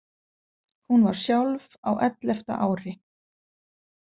Hún var sjálf á ellefta ári.